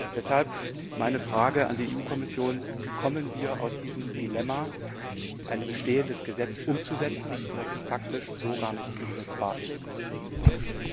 Deshalb meine Frage an die Kommission Wie kommen wir aus diesem Dilemma, ein bestehendes Gesetz umzusetzen, das faktisch so gar nicht umsetzbar ist, heraus?